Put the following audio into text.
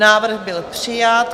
Návrh byl přijat.